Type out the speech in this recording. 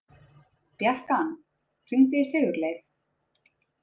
Bjarkan, hringdu í Sigurleif.